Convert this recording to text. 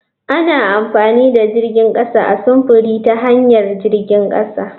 Ana amfani da jirgin kasa a sufuri ta hanyar jirgin kasa.